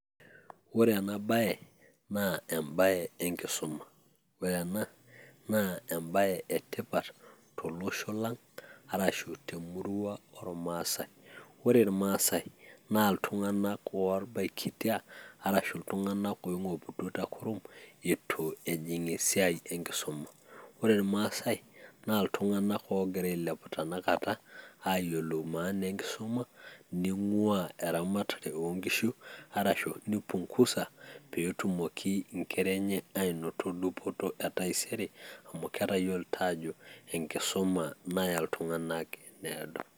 ore ena bae naa ebae enkisuma, ore ena naa ebae etipat tolosho lang' arashu temurua ormaasae. ore irmaasae na iltunganak, oibakitia, arashu iltungan otobiko te kurum, eitu ejing esiai enkisuma. ore irmaasae naa iltunganak oogira ailepu tena kata aayiolou maan enkisuma nieng'uaa eramatare oonkishu arashu nipiungusa pee etumoki inkera enya anoto dupoto etaisere. amu etayiolito aajo enkisuma naya iltunganak eniado.